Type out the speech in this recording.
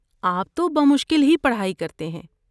آپ تو بمشکل ہی پڑھائی کرتے ہیں۔